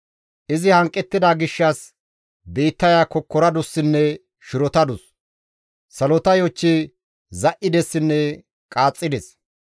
«Izi hanqettida gishshas biittaya kokkoradussinne shirotadus; salota yochchi za7idessinne qaaxxides.